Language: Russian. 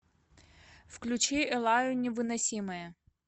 включи эллаю невыносимая